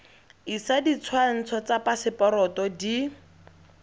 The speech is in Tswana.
isa ditshwantsho tsa phaseporoto di